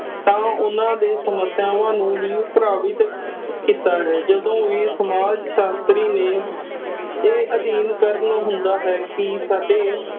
ਤਾ ਓਹਨਾ ਦੇ ਸਮੱਸਿਆਵਾ ਨੂੰ ਵੀ ਪ੍ਰ੍ਹਵੀਤ ਕੀਤਾ ਹੈ । ਜਦੋ ਵੀ ਸਮਾਜ ਸਾਸ਼ਤਰੀ ਨੇ ਇਹ ਅਦੀਨ ਕਰਨ ਹੁੰਦਾ ਹੈ ਕਿ ਸਾਡੇ